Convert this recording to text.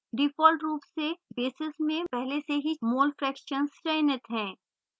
default रूप से basis में पहले से ही mole fractions चयनित है